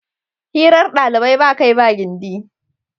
Hirar ɗalibai ba kai ba gindi.